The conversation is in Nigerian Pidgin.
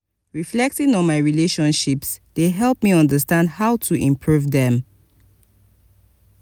reflecting on my relationships dey help me understand how to improve dem.